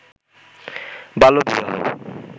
বাল্যবিবাহ